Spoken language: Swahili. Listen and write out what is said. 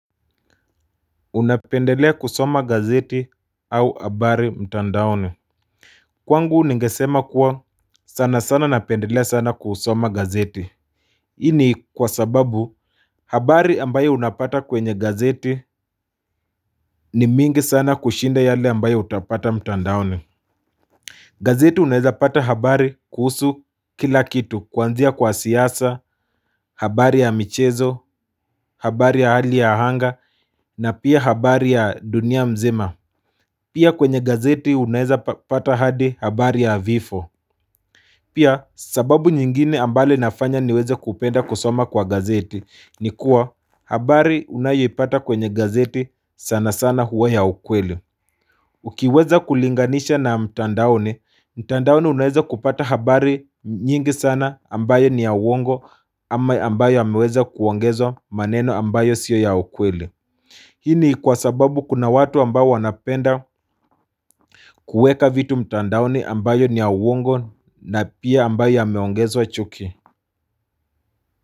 Unapendelea kusoma gazeti au abari mtandaoni hhh Kwangu ningesema kuwa sana sana napendelea sana kusoma gazeti Hii ni kwa sababu habari ambayo unapata kwenye gazeti ni mingi sana kushinda yale ambaye utapata mtandaoni. Gazeti unaeza pata habari kuhusu kila kitu, kuanzia kwa siyasa, habari ya michezo, habari ya hali ya ahanga na pia habari ya dunia mzima Pia kwenye gazeti unaeza pata hadi habari ya vifo. Hh Pia sababu nyingine ambale nafanya niweze kupenda kusoma kwa gazeti ni kuwa habari unayoipata kwenye gazeti sana sana huwa ya ukweli. Hh Ukiweza kulinganisha na mtandaoni, mtandaoni unaeza kupata habari nyingi sana ambayo ni ya uongo ama ambayo ameweza kuongezwa maneno ambayo sio ya ukweli. Hii ni kwa sababu kuna watu ambao wanapenda kuweka vitu mtandaoni ambayo ni ya uwongo na pia ambayo yameongezwa chuki.